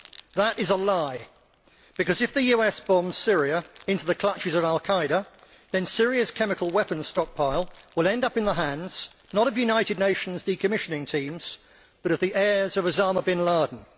That is a lie, because if the US bombs Syria into the clutches of al Qa'ida, then Syria's chemical weapon stockpile will end up in the hands not of the United Nations decommissioning teams, but of the heirs of Osama bin Laden.